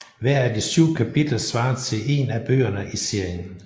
Hver af de syv kapitler svarer til en af bøgerne i serien